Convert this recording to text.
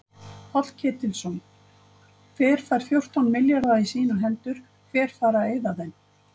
Páll Ketilsson: Hver fær fjórtán milljarða í sínar hendur, hver fær að eyða þeim?